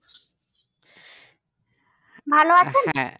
ভালো